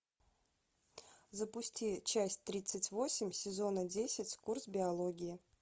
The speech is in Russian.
запусти часть тридцать восемь сезона десять курс биологии